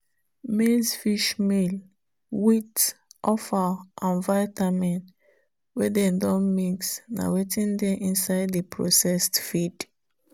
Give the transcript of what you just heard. maizefishmeal wheat offal and vitamin wey dey don mix na wetin dey inside the processed feed.